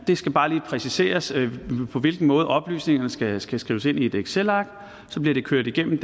skal bare lige præciseres på hvilken måde oplysningerne skal skal skrives ind i et excelark og så bliver det kørt gennem